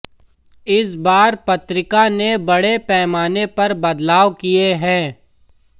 इस बार पत्रिका ने बड़े पैमाने पर बदलाव किए हैं